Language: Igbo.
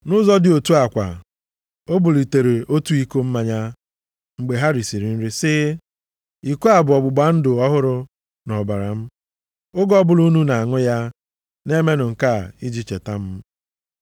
Nʼụzọ dị otu a kwa, o bulitere otu iko mmanya mgbe ha risiri nri sị, “Iko a bụ ọgbụgba ndụ ọhụrụ nʼọbara m. Oge ọbụla unu na-aṅụ ya, na-emenụ nke a iji na-echeta m.”